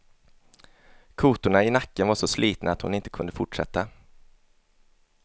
Kotorna i nacken var så slitna att hon inte kunde fortsätta.